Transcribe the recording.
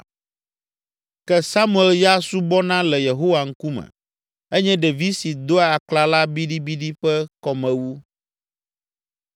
Ke Samuel ya subɔna le Yehowa ŋkume, enye ɖevi si doa aklala biɖibiɖi ƒe kɔmewu.